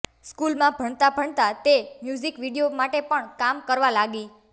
સ્કૂલમાં ભણતાં ભણતાં તે મ્યુઝિક વીડિયો માટે પણ કામ કરવા લાગી